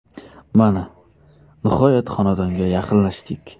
Mana, nihoyat xonadonga yaqinlashdik.